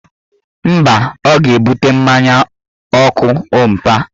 Mba, ọ ga-ebute mmanya ọkụ ompa